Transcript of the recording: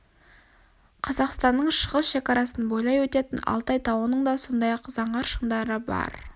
қазқастанның шығыс шекарасын бойлай өтетін алтай тауының да сондай-ақ заңғар шыңдары бар